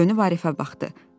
Dönüb Arifə baxdı.